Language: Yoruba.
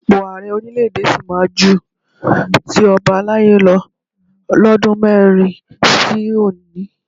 Ipò Ààrẹ orílẹ̀ èdè sì máa ju ti ọbalaye lọ lọ́dún mẹ́rin sí òní